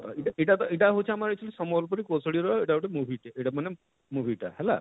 ଇଟା ଇଟା ତ ଇଟା ହଉଛେ ଆମର ସମ୍ବଲପୁରୀ କୋଶଳିର ଇଟା ଗୁଟେ movie ଟେ ଇଟା ମାନେ movie ଟା ହେଲା